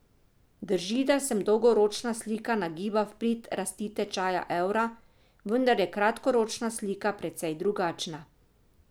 Drži, da se dolgoročna slika nagiba v prid rasti tečaja evra, vendar je kratkoročna slika precej drugačna.